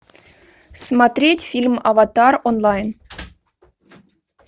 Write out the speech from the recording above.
смотреть фильм аватар онлайн